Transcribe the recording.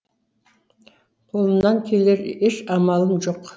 қолымнан келер еш амалым жоқ